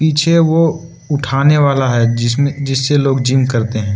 पीछे वो उठाने वाला है जिसमें जिससे लोग जिम करते है।